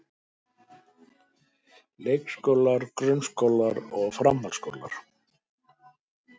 Leikskólar, grunnskólar og framhaldsskólar.